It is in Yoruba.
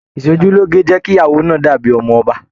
Ìsòjúloge jẹ kí ìyàwó náà dàbí ọmọ ọba.